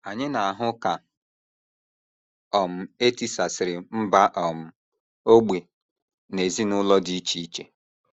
Anyị na - ahụ ka um e tisasịrị mba um, ógbè, na ezinụlọ dị iche iche.